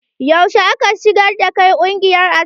Yaushe aka shigar da kai ƙungiyar asiri?